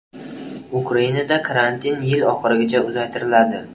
Ukrainada karantin yil oxirigacha uzaytiriladi.